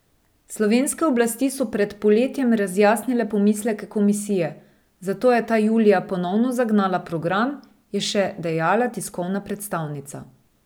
Slovenske oblasti so pred poletjem razjasnile pomisleke komisije, zato je ta julija ponovno zagnala program, je še dejala tiskovna predstavnica.